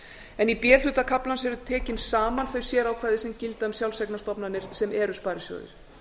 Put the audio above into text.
en í b hluta kaflans eru tekin saman þau sérákvæði sem gilda um sjálfseignarstofnanir sem eru sparisjóðir